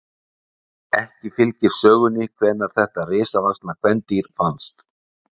ekki fylgir sögunni hvenær þetta risavaxna kvendýr fannst